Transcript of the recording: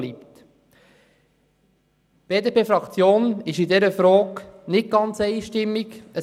Die BDP-Fraktion stimmt zu dieser Frage nicht einstimmig ab.